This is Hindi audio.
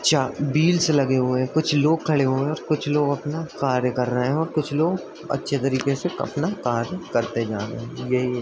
चार व्‍हील्‍स लगे हुए हैं | कुछ लोग खड़े हुए हैं | कुछ लोग अपना कार्य कर रहे हैं और कुछ लोग अच्‍छे तरीके से अपना कार्य करते जा रहे हैं यही है --